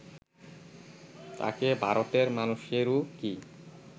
তাঁকে ভারতের মানুষেরও কি